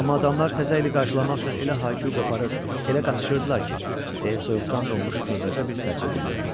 Amma adamlar təzə ili qarşılamaq üçün elə hay-küy qoparır, elə qaçışırdılar ki, deyə soyuqdan donmuş xırdaca bir sərçə dilləndi.